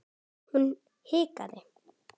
Hún hikaði.